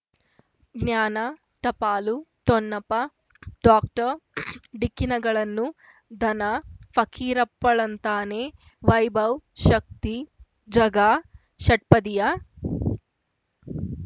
ಜ್ಞಾನ ಟಪಾಲು ಠೊಣಪ ಡಾಕ್ಟರ್ ಢಿಕ್ಕಿ ಣಗಳನು ಧನ ಫಕೀರಪ್ಪ ಳಂತಾನೆ ವೈಭವ್ ಶಕ್ತಿ ಝಗಾ ಷಟ್ಪದಿಯ